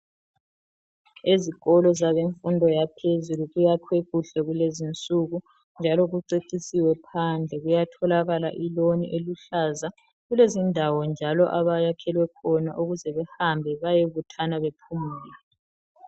Ezikolo zabemfundo yaphezulu kuyakhwe kuhle kulezi insuku njalo kucecisiwe phandle. Kuyatholakala iloni eluhlaza, kulezindawo njalo abayakhelwe khona ukuze behambe bayebuthana bephumule.